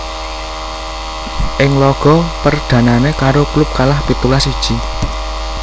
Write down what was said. Ing laga perdhanané karo klub kalah pitulas siji